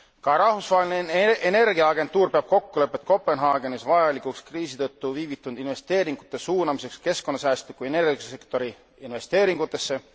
Ka Rahvusvaheline Energiaagentuur peab kokkulepet Kopenhaagenis vajalikuks kriisi tõttu viivitunud investeeringute suunamiseks keskkonnasäästliku energiasektori investeeringutesse.